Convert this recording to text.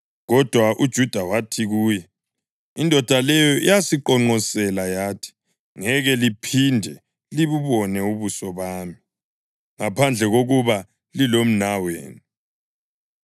Kodwa uJuda wathi kuye, “Indoda leyo yasiqonqosela yathi, ‘Ngeke liphinde libubone ubuso bami ngaphandle kokuba lilomnawenu.’